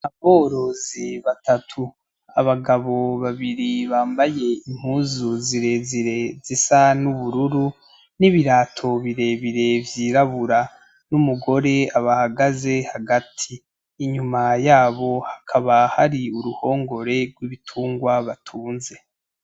Aborozi batatu , abagabo babiri bambaye impuzu zirezire zisa n' ubururu, n'ibarato birebire vyirabura, n' mugore abahagaze hagati, inyuma yabo hakaba hari uruhongore gw' ibitungwa batunze.